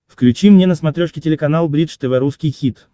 включи мне на смотрешке телеканал бридж тв русский хит